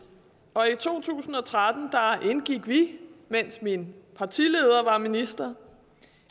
og i to tusind og tretten indgik vi mens min partileder var minister